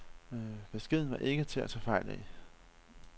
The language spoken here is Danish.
Beskeden var ikke til at tage fejl af.